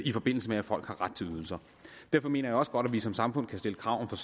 i forbindelse med at folk har ret til ydelser derfor mener jeg også godt at vi som samfund kan stille krav